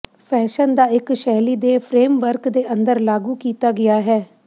fashion ਦਾ ਇੱਕ ਸ਼ੈਲੀ ਦੇ ਫਰੇਮਵਰਕ ਦੇ ਅੰਦਰ ਲਾਗੂ ਕੀਤਾ ਗਿਆ ਹੈ